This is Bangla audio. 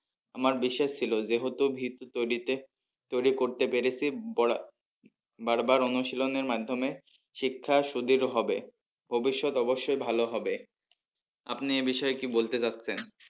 আমার বিশ্বাস ছিল যেহেতু ভীত তৌরিতে তৌরি করতে পেরেছি বার বার অনুশীলনের মাধ্যমে শিক্ষা সুদৃঢ় হবে ভবিষৎ অবশ্যই ভালো হবে। আপনি এ বিষয়ে কি বলতে চাইছেন?